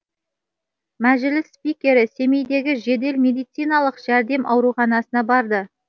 мәжіліс спикері семейдегі жедел медициналық жәрдем ауруханасына барды